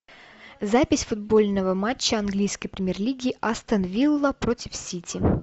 запись футбольного матча английской премьер лиги астон вилла против сити